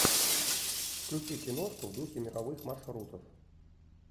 включи киношку в духе мировых маршрутов